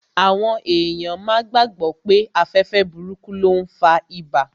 Àwọn èèyàn máa gbàgbọ̀ pé afẹ́fẹ́ burúkú ló n fa ibà